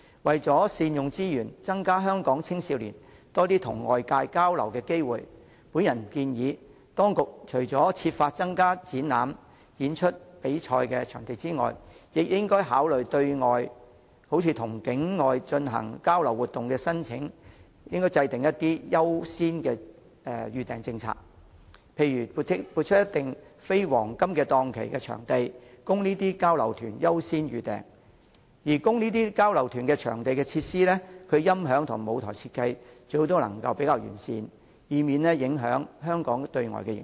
為善用資源，增加香港青少年與外界交流的機會，我建議當局除了設法增加展覽、演出及比賽場地之外，亦應考慮針對與境外團體進行交流活動的申請，制訂優先預訂政策，例如撥出一定比例的非黃金檔期的場地，讓這些交流團優先預訂；而供這類交流團租用的場地設施，其音響及舞台設計最好是較為完善的，以免影響香港對外的形象。